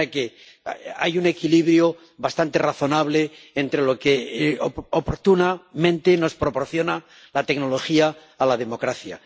De manera que hay un equilibrio bastante razonable entre lo que oportunamente nos proporciona la tecnología a la democracia.